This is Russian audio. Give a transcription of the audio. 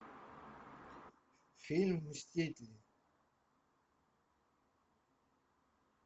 фильм мстители